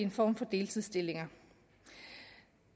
en form for deltidsstillinger